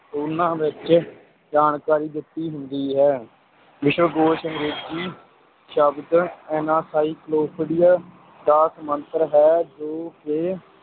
ਉਹਨਾਂ ਵਿੱਚ ਜਾਣਕਾਰੀ ਦਿੱਤੀ ਹੁੰਦੀ ਹੈ ਵਿਸ਼ਵਕੋਸ਼ ਅੰਗਰੇਜ਼ੀ ਸ਼ਬਦ encyclopedia ਦਾ ਸਮਾਂਤਰ ਹੈ ਜੋ ਕਿ